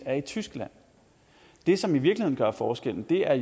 er i tyskland det som i virkeligheden gør forskellen er